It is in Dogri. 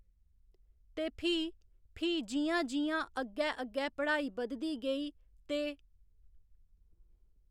ते फ्ही, फ्ही जि'यां जि'यां अग्गै अग्गै पढ़ाई बधदी गेई ते